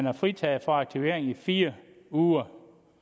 er fritaget for aktivering i fire uger